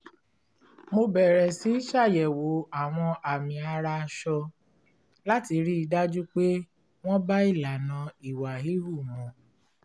mo bẹ̀rẹ̀ sí ṣàyẹ̀wò àwọn àmì ara aṣọ láti rí i dájú pé wọ́n bá ìlànà ìwà híhù mu